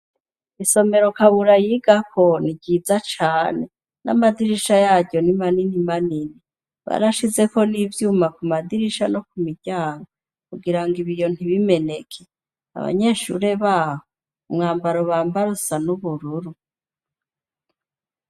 Isomero Kabura yigako ni ryiza cane n'amadirisha yaryo ni manini manini. Barashizeko n'ivyuma ku madirisha no ku miryango kugirango ibiyo ntibimeneke, abanyeshure baho umwambaro bambara usa n'ubururu.